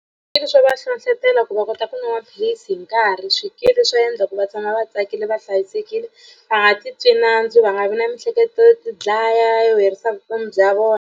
swo va hlohlotelo ku va kota ku nwa maphilisi hi nkarhi swikili swo endla ku va tshama va tsakile va hlayisekile va nga titwi nandzu va nga vi na miehleketo yo tidlaya yo herisa vutomi bya vona.